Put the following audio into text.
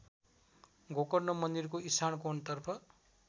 गोकर्ण मन्दिरको इशानकोणतर्फ